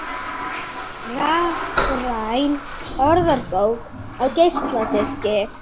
Hér á nesinu er mikið um illþýði og hættulegt að vera einn á ferð.